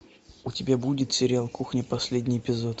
у тебя будет сериал кухня последний эпизод